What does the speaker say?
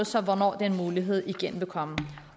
så hvornår den mulighed igen vil komme